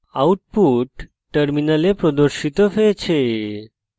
output terminal প্রদর্শিত হয়েছে